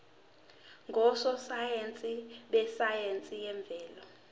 ngososayense besayense yemvelo